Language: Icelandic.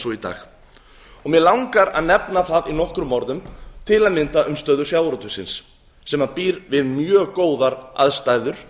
í dag mig langar að nefna það í nokkrum orðum til að mynda um stöðu sjávarútvegsins sem býr við mjög góðar aðstæður